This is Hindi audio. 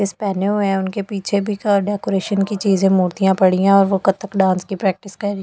इसपेनु उनके पीछे भी अ डेकोरेशन की चीज़े मूर्तियाँ पड़ी है और वह कत्थक डांस की प्रैक्टिस कर रही।